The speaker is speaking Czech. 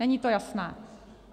Není to jasné.